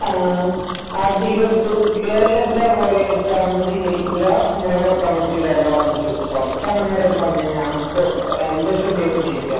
കേരളത്തിൽ കൊറെയിടത് അതൊന്നും സ്വീകരിക്കുല എന്ന് ഡയലോഗ് പറഞ്ഞിട്ട് പുറത്തു അങ്ങനെ എന്റെ ശ്രദ്ധയിൽ പെട്ടിട്ടില്ല